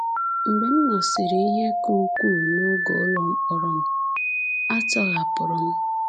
Mgbe m nọsịrị ihe ka ukwuu n’oge ụlọ mkpọrọ m, a tọhapụrụ m.